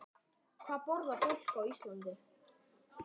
Hvað borðar fólk á Íslandi?